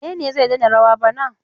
Wane ne zai daina rawa bana?